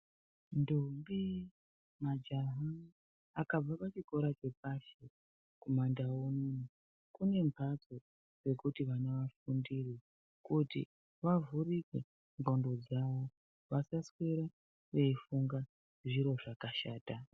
Ntombi nemajaya akabva zvikora zvapasi anoenda zvikora zvapamusoro kuti avhurwe nqondo yayo asazorambe veifunge zviro zvakashata